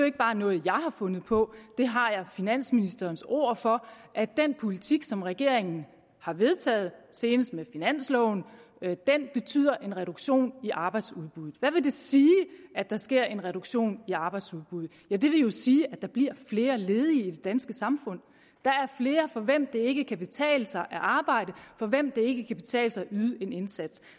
ikke bare noget jeg har fundet på jeg har finansministerens ord for at den politik som regeringen har vedtaget senest med finansloven betyder en reduktion i arbejdsudbuddet hvad vil det sige at der sker en reduktion i arbejdsudbuddet ja det vil jo sige at der bliver flere ledige i det danske samfund der er flere for hvem det ikke kan betale sig at arbejde for hvem det ikke kan betale sig at yde en indsats